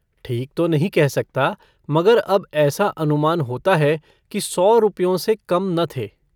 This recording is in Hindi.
ठीक तो नहीं कह सकता मगर अब ऐसा अनुमान होता है कि सौ रुपयों से कम न थे।